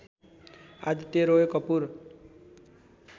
Aditya Roy Kapoor